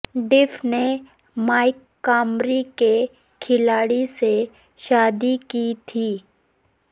ڈف نے Mike Comrie کے کھلاڑی سے شادی کی تھی